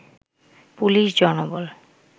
police জনবল